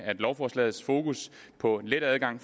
lovforslagets fokus på en let adgang